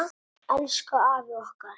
Elsku afi okkar.